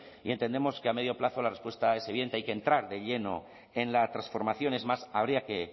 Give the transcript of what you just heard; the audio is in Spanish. y entendemos que a medio plazo la respuesta es evidente hay que entrar de lleno en la transformación es más habría que